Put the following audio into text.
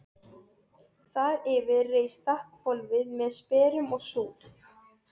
Þar yfir reis þakhvolfið með sperrum og súð.